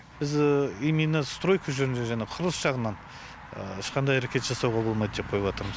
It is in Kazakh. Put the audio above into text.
біз именно стройка жөнінде жаңағы құрылыс жағынан ешқандай әрекет жасауға болмайды деп қойып отырмыз